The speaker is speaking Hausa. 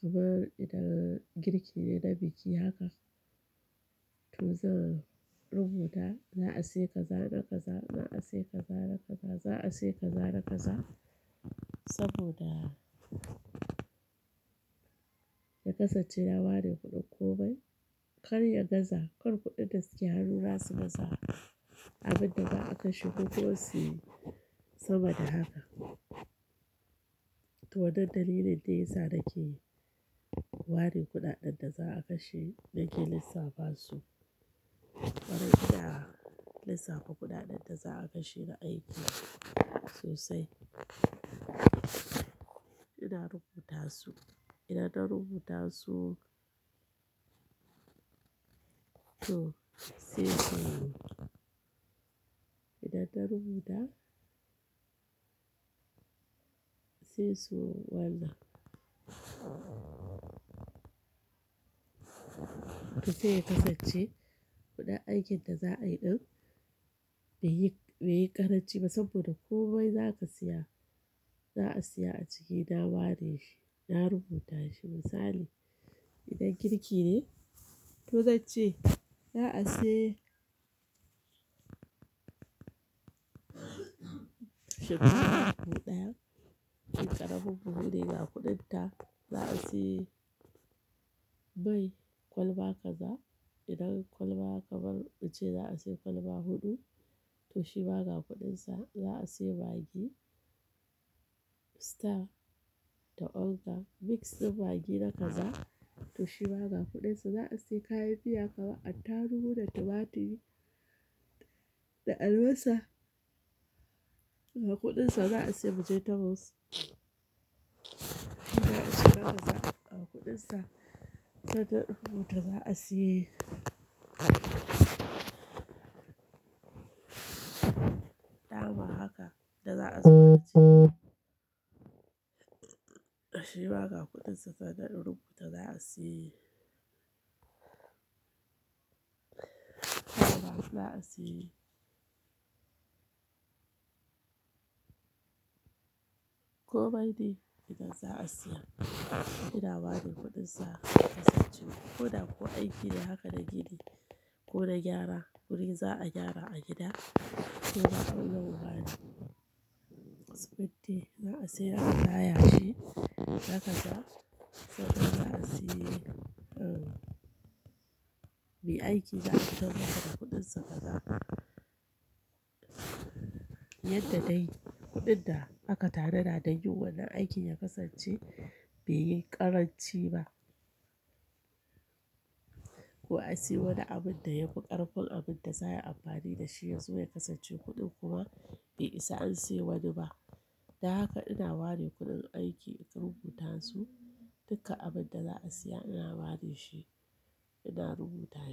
Kamar idan girki ne da biki haka, to zan rubuta za a sayi kaza, na kaza, za a sayi kaza, na kaza, za a sayi kaza, na kaza saboda ya kasance na ware kuɗin ko bai. Kar ya gaza, kar kuɗin da ke yarura su baza abunda za a kashe ko kuma si saboda haka. To wannan dalilin da yasa nake ware kuɗaɗen da za a kashe nake lissafa su. Wajen ina lissafa kuɗaɗen da za a kashe na aiko sosai. Ina rubuta su, idan na rubuta su to sai su yiwu. Idan na rubuta sai su wanza. To sai ya kasance kuɗin aikin da za a yi ɗan bai yi, bai yi ƙaranci ba saboda komai zaka siya, za a siya a ciki na ware shi, na rubuta shi. Misali idan girki ne, to zan ce za a sayi shinkafa buhu ɗayan, shinkafa buhu biyu dayan, ga kuɗin ta. Za a sayi bai kwalba kaza. Idan kwalba kamar muce za a sayi kwalba huɗu, to shi ma ga kuɗin sa. Za a sayi magi star da onga mix da magi na kaza, to shi ma ga kuɗin sa. Za a sayi kayan fiya kamar attaruhu da tumaturi da albasa, ga kuɗin sa. Za a sayi vegetables to shi ma ga kaza ga kuɗin sa. Sannan in rubuta za a sayi nama haka da za a zuba aciki. To shi ma ga kuɗin sa. To zan rubuta za a sayi kaya suna a sayi. Komai de idan za a siya ina ware kuɗin sa ya kasance ko da ko aiki ne haka na gida ko na gyara wurin za a gyara a gida ko za a ɗauki waya siminti, za a sayi yashi na kaza. To nan za a sayi, me aiki za a tambatar da kuɗinsa kaza. Yadda dai kuɗin da aka tanada da yin wannan aikin ya kasance bai yi ƙaranci ba. Ko a siya wani abun da ya buƙar full abun da za a yi amfani da shi yanzu ya kasance kuɗin kuma bai isa an siya wani ba. Don haka ina ware kuɗin aiki, ina rubuta su. Duka abun da za a siya ina ware shi, ina rubuta shi.